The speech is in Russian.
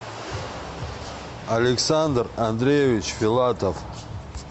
александр андреевич филатов